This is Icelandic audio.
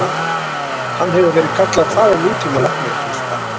Hann hefur verið kallaður faðir nútíma læknavísinda.